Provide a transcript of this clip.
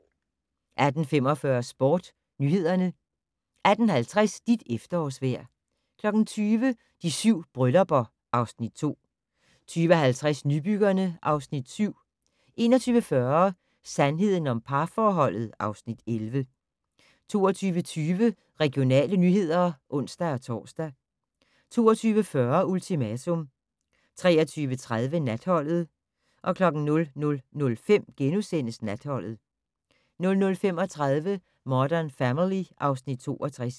18:45: SportsNyhederne 18:50: Dit efterårsvejr 20:00: De 7 bryllupper (Afs. 2) 20:50: Nybyggerne (Afs. 7) 21:40: Sandheden om parforholdet (Afs. 11) 22:20: Regionale nyheder (ons-tor) 22:40: Ultimatum 23:30: Natholdet 00:05: Natholdet * 00:35: Modern Family (Afs. 62)